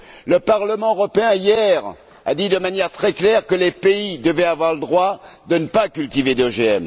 Hier, le Parlement européen a dit de manière très claire que les pays devaient avoir le droit de ne pas cultiver d'OGM.